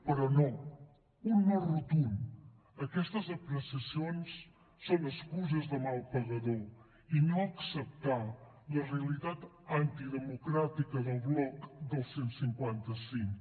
però no un no rotund aquestes apreciacions són excuses de mal pagador i no acceptar la realitat antidemocràtica del bloc del cent i cinquanta cinc